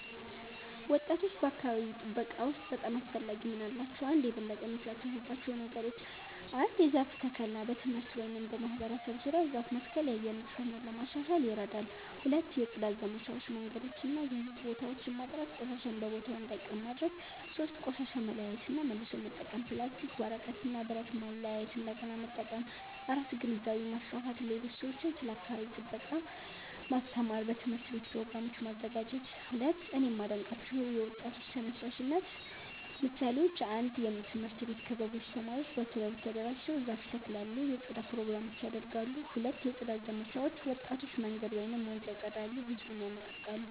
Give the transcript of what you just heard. ወጣቶች በአካባቢ ጥበቃ ውስጥ በጣም አስፈላጊ ሚና አላቸው። 1)የበለጠ የሚሳተፉባቸው ነገሮች ? 1. የዛፍ ተከላ በትምህርት ቤት ወይም በማህበረሰብ ዙሪያ ዛፍ መትከል የአየር ንጽህና ለማሻሻል ይረዳል 2. የጽዳት ዘመቻዎች መንገዶችን እና የህዝብ ቦታዎችን ማጽዳት ቆሻሻ በቦታው እንዳይቀር ማድረግ ማድረግ 3. ቆሻሻ መለያየት እና መልሶ መጠቀም ፕላስቲክ፣ ወረቀት እና ብረት ማለያየት እንደገና መጠቀም 4. ግንዛቤ ማስፋፋት ሌሎች ሰዎችን ስለ አካባቢ ጥበቃ ማስተማር በትምህርት ቤት ፕሮግራሞች ማዘጋጀት 2)እኔ የማዴንቃቸው የወጣቶች ተነሳሽነት ምሳሌዎች 1 የትምህርት ቤት ክበቦች ተማሪዎች በክበብ ተደራጅተው ዛፍ ይተክላሉ የጽዳት ፕሮግራሞች ያደርጋሉ 2 የጽዳት ዘመቻዎች ወጣቶች መንገድ ወይም ወንዝ ያፀዳሉ ህዝብን ይነቃቃሉ